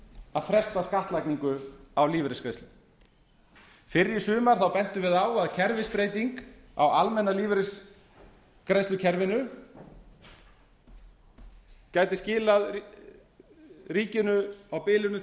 að fresta skattlagningu á lífeyrisgreiðslur fyrr í sumar þá bentum við á að kerfisbreyting á almenna lífeyrisgreiðslukerfinu gæti skilað ríkinu á bilinu